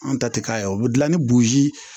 Anw ta tɛ k'a ye o bɛ dilan ni bozi